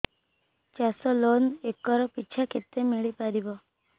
ଚାଷ loan acre ପିଛା କେତେ ମିଳି ପାରିବ